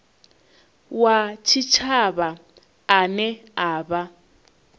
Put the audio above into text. wa tshitshavha ane a vha